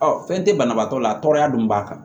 Ɔ fɛn tɛ banabaatɔ la a tɔɔrɔya don b'a kan